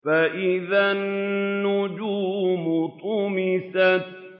فَإِذَا النُّجُومُ طُمِسَتْ